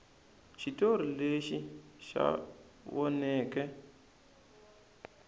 xitori lexi xa voneka